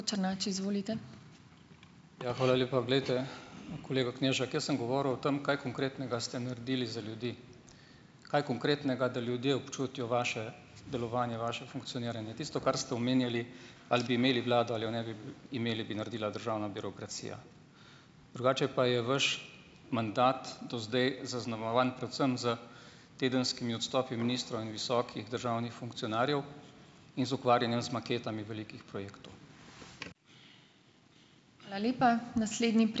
Ja, hvala lepa. Glejte, kolega Knežak, jaz sem govoril o tem, kaj konkretnega ste naredili za ljudi. Kaj konkretnega, da ljudje občutijo vaše delovanje, vaše funkcioniranje. Tisto, kar ste omenjali, ali bi imeli vlado ali jo ne bi imeli, bi naredila državna birokracija. Drugače pa je vaš mandat do zdaj zaznamovan predvsem s tedenskimi odstopi ministrov in visokih državnih funkcionarjev in z ukvarjanjem z maketami velikih projektov.